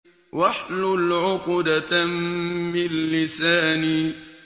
وَاحْلُلْ عُقْدَةً مِّن لِّسَانِي